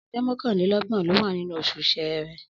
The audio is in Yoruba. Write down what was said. Ọjọ́ mọ́kànlélọ́gbọ̀n ló wà nínú oṣù Ṣẹẹrẹ.